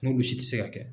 N'olu si tɛ se ka kɛ